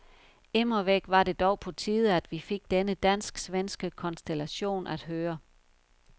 Immervæk var det dog på tide, at vi fik denne dansk-svenske konstellation at høre.